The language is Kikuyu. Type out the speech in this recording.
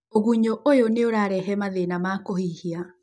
tũgunyũũyũnĩ ũrarehe mathĩna ma kũhihia.